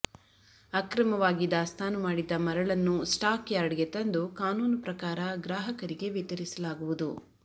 ಅಕ್ರಮವಾಗಿ ದಾಸ್ತಾನು ಮಾಡಿದ್ದ ಮರಳನ್ನು ಸ್ಟಾಕ್ ಯಾರ್ಡ್ಗೆ ತಂದು ಕಾನೂನು ಪ್ರಕಾರ ಗ್ರಾಹಕರಿಗೆ ವಿತರಿಸಲಾಗುವುದು